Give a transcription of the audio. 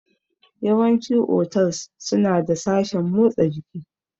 Yawanci otals suna da sashen motsa jiki